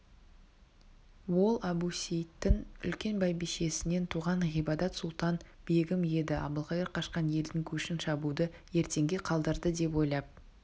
ол әбусейіттің үлкен бәйбішесінен туған ғибадат-сұлтан-бегім еді әбілқайыр қашқан елдің көшін шабуды ертеңге қалдырды деп ойлап